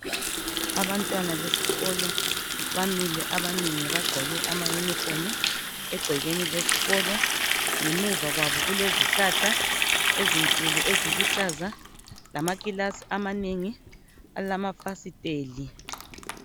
Abantwana besikolo bamile abanengi bagqoke ama uniform egcekeni lesikolo ngemuva kwabo kulezihlahla ezinkulu eziluhlaza lama gumbi okufundela alama fasitela